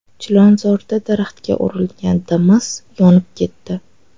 Chilonzorda daraxtga urilgan Damas yonib ketdi .